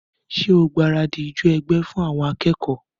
Ṣé o gbaradì ijó ẹgbẹ́ fún àwọn akẹ́kọ̀ọ́?